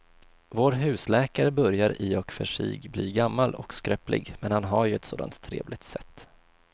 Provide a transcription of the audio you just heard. Vår husläkare börjar i och för sig bli gammal och skröplig, men han har ju ett sådant trevligt sätt!